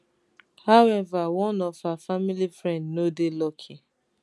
however one of her family friend no dey lucky